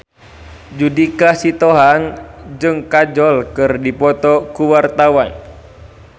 Judika Sitohang jeung Kajol keur dipoto ku wartawan